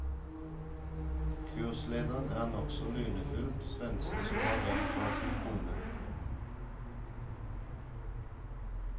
Kurslederen er en nokså lunefull svenske som har rømt fra sin kone.